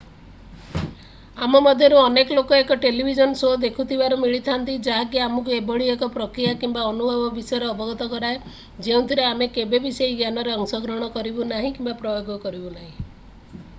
ଆମ ମଧ୍ୟରୁ ଅନେକ ଲୋକ ଏକ ଟେଲିଭିଜନ ଶୋ ଦେଖୁଥିବାର ମିଳିଥାନ୍ତି ଯାହାକି ଆମକୁ ଏଭଳି ଏକ ପ୍ରକ୍ରିୟା କିମ୍ବା ଅନୁଭବ ବିଷୟରେ ଅବଗତ କରାଏ ଯେଉଁଥିରେ ଆମେ କେବେବି ସେହି ଜ୍ଞାନରେ ଅଂଶଗ୍ରହଣ କରିବୁ ନାହିଁ କିମ୍ବା ପ୍ରୟୋଗ କରିବୁ ନାହିଁ